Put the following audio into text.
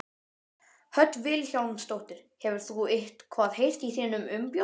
Hödd Vilhjálmsdóttir: Hefur þú eitthvað heyrt í þínum umbjóðanda?